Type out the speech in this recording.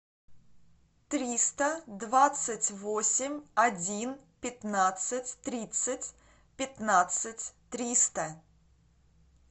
триста двадцать восемь один пятнадцать тридцать пятнадцать триста